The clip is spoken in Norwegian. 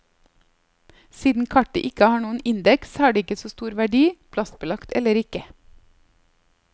Siden kartet ikke har noen indeks har det ikke så stor verdi, plastbelagt eller ikke.